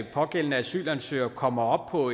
pågældende asylansøgere kommer op på